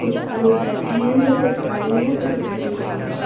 कुछ लोग बैठे हैं तो कुछ खड़े हैं तो कुछ चल रहें हैं।